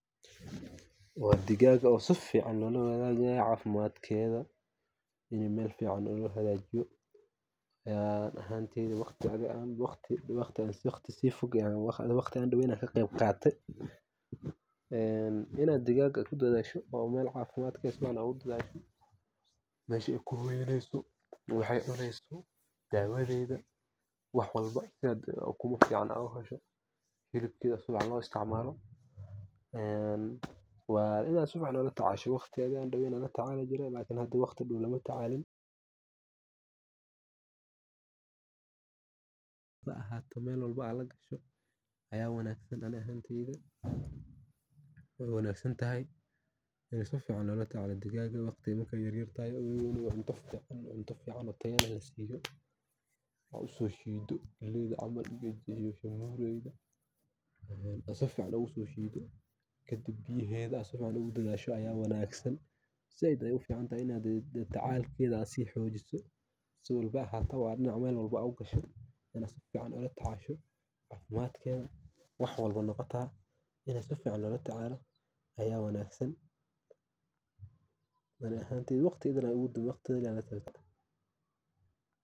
Dhigaaga si fiican lo wadaagaya caafimaadkeeda in meel fiican loo hagaajiyo ani ahaan waqti fog ayaan ka qeyb qatay digaaga caafimaadkeeda in lagu daryeelo meesha ku hoyanaysa daawadeeda, ukumeeda, hilibkeeda si fiican loo isticmalo, si fiican loola tacaalo. Waqti dhow lama tacaalin, si fiican loola tacaalo. Waqti ayaa yar tahay, wanaagsan. Cunto fiican oo tayo leh oo loo soo saaray, biyaha si fiican ula tacaasho, caafimaadkeeda loola tacaalo.